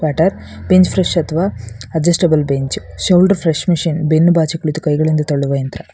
Butter ಮತ್ತು bench press ಅಥವಾ adjustable bench shoulder press machine ಬೆನ್ನು ಬಾಚಿ ಕುಳಿತು ಕೈಯಗಳಿಂದ ತಳ್ಳುವ ಯಂತ್ರ.